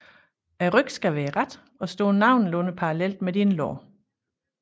Ryggen skal være ret og stå nogenlunde parallelt med dine lår